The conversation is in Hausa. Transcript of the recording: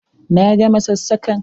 Na gama sassakan!